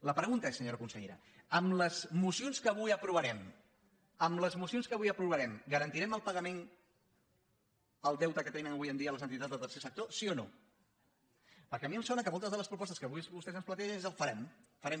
la pregunta és senyora consellera amb les mocions que avui aprovarem amb les mocions que avui aprovarem garantirem el pagament del deute que tenen avui en dia les entitats del tercer sector sí o no perquè a mi em sona que moltes de les propostes que avui vostès ens plantegen són el farem farem